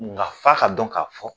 Nga f'a ka dɔn k'a fɔ